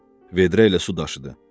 Vedrə ilə su daşıdı.